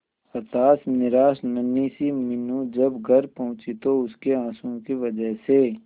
हताश निराश नन्ही सी मीनू जब घर पहुंची तो उसके आंसुओं की वजह से